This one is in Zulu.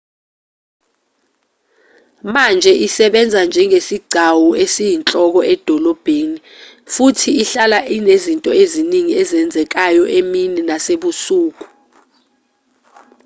manje isebenza njengesigcawu esiyinhloko edolobheni futhi ihlala inezinto eziningi ezenzekayo emini nasebusuku